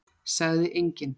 Sagði enginn.